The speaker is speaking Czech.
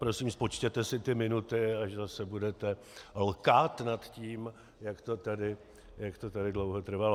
Prosím, spočítejte si ty minuty, až zase budete lkát nad tím, jak to tady dlouho trvalo.